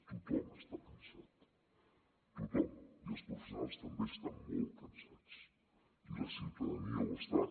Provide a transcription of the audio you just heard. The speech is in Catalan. tothom està cansat tothom i els professionals també estan molt cansats i la ciutadania ho està